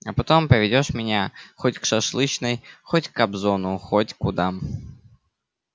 а потом поведёшь меня хоть к шашлычной хоть к кобзону хоть куда